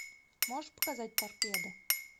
можешь показать торпеда